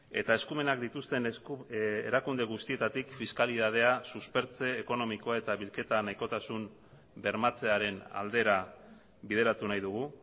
eta eskumenak dituzten erakunde guztietatik fiskalitatea suspertze ekonomikoa eta bilketa nahikotasun bermatzearen aldera bideratu nahi dugu